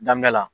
Daminɛ la